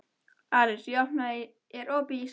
Aris, er opið í Íslandsbanka?